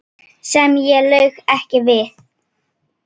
Sem ég lauk ekki við.